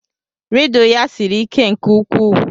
Rịdụ ya siri ike nke ukwuu.